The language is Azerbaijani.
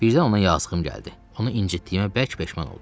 Birdən ona yazığım gəldi, onu incitdiyimə bərk peşman oldum.